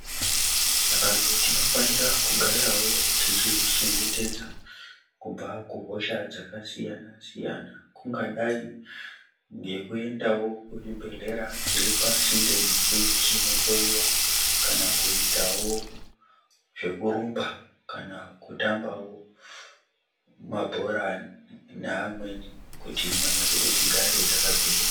Antu tinofanira kugaravo tichizvichengetedza kubva kuhosha dzakasiyana siyana, kungadai ngekuendawo kuzvibhedhleya zviri pasinde nesu, tichinohloyiwa, kana kuitawo zvekurumba kana kutambawo mabhora neamwe kuti nyama dzedu dzigare dzakagwinya.